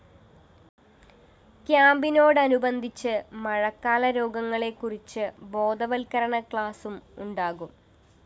ക്യാമ്പിനോടനുബന്ധിച്ച് മഴക്കാല രോഗങ്ങളെക്കുറിച്ച് ബോധവല്‍ക്കരണ ക്ലാസും ഉണ്ടാകും